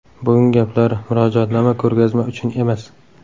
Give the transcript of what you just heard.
Bugungi gaplar, Murojaatnoma ko‘rgazma uchun emas.